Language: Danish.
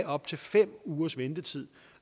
op til fem ugers ventetid